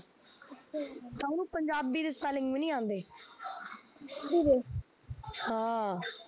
ਤਾਂ ਉਹਨੂੰ ਪੰਜਾਬੀ ਦੇ spelling ਵੀ ਨੀ ਆਉਂਦੇ ਹਾਂ